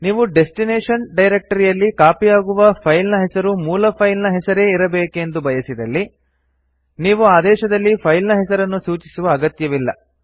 ನೀವು ಡೆಸ್ಟಿನೇಶನ್ ಡೈರಕ್ಟರಿಯಲ್ಲಿ ಕಾಪಿ ಯಾಗುವ ಫೈಲ್ ನ ಹೆಸರು ಮೂಲ ಫೈಲ್ ನ ಹೆಸರೇ ಇರಬೇಕೆಂದು ಬಯಸಿದಲ್ಲಿ ನೀವು ಆದೇಶದಲ್ಲಿ ಫೈಲ್ ನ ಹೆಸರನ್ನು ಸೂಚಿಸುವ ಅಗತ್ಯವಿಲ್ಲ